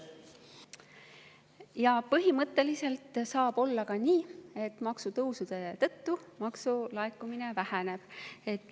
Jaa, põhimõtteliselt saab olla ka nii, et maksutõusude tõttu maksulaekumine väheneb.